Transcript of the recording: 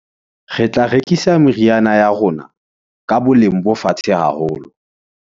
Re tla rekisa meriana ya rona ka boleng bo fatshe haholo.